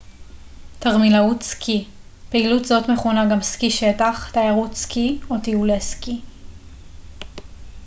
תרמילאות סקי פעילות זאת מכונה גם סקי שטח תיירות סקי או טיולי סקי